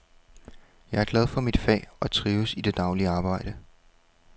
Jeg er glad for mit fag og trives i det daglige arbejde.